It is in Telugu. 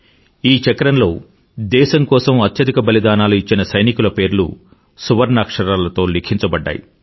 ఈ చక్రంలో దేశం కోసం అత్యధిక బలిదానాలు ఇచ్చిన సైనికుల పేర్లు సువర్ణాక్షరాలతో లిఖించబడ్డాయి